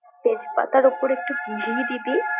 তেজপাতার উপর একটু ঘি দিবি।